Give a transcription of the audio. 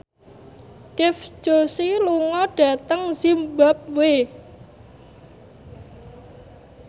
Dev Joshi lunga dhateng zimbabwe